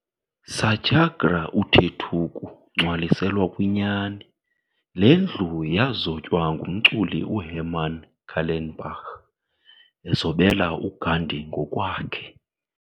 Satyagraha uthetuku ngcwaliselwa kwinyani. Le ndlu ya zotywa ngumculi uHerman Kallenbach ezobela uGandhi ngokwakhe.